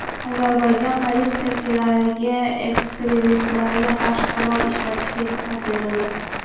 Ozarbayjon politsiyachilariga ekstremistlarga qarshi qurol ishlatishga ruxsat berildi .